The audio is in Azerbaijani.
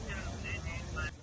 On ikidən gəldim mən.